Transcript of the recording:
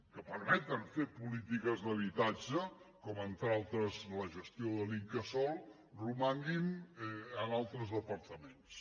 que permeten fer polítiques d’habitatge com entre d’altres la gestió de l’incasòl romanguin en altres departaments